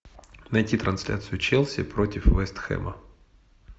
найти трансляцию челси против вест хэма